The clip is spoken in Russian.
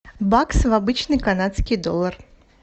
бакс в обычный канадский доллар